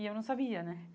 E eu não sabia, né?